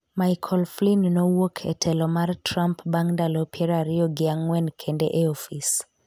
Michael Flynn nowuok e telo mar Trump bang' ndalo piero ariyo gi ang'wen kende e ofis